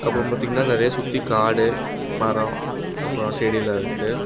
அப்ரோ பாத்தீங்னா நெறைய சுத்தி காடு மரோ அப்ரோ செடில்லா இருக்கு.